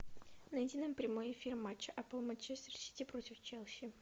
найди нам прямой эфир матча апл манчестер сити против челси